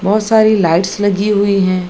बहुत सारी लाइट्स लगी हुई है।